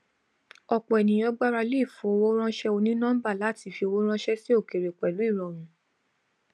ọpọ ènìyàn gbarale ifowóránṣẹ onínọmbà láti fi owó ránṣẹ sí òkèèrè pẹlú ìrọrùn